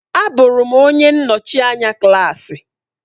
Abụrụ m onye nnọchi anya klaasị.